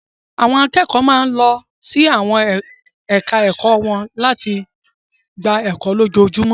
Àwọn akẹ́kọ̀ọ́ máa ń lọ sí àwọn ẹ̀ka-ẹ̀kọ́ wọn láti lọ gba ẹkọ́ lójoojúmọ́.